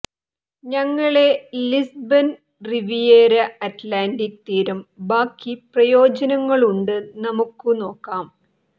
ഞങ്ങളെ Lisbon Riviera Atlantic തീരം ബാക്കി പ്രയോജനങ്ങളുണ്ട് നമുക്കു നോക്കാം